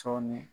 Sɔɔni